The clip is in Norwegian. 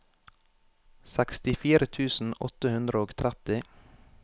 sekstifire tusen åtte hundre og tretti